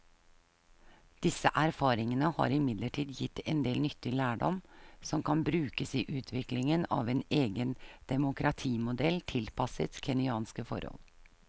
Disse erfaringene har imidlertid gitt en del nyttig lærdom som kan brukes i utviklingen av en egen demokratimodell tilpasset kenyanske forhold.